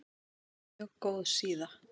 Mjög góð síða.